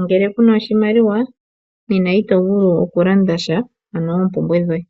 Ngele ku na oshimaliwa nena ito vulu okulandasha ano oompumbwe dhoye.